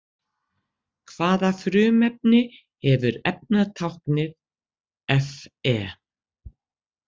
Hvaða frumefni hefur efnatáknið Fe?